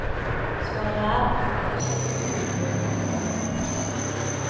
Svaret er, for det første, kokebøker.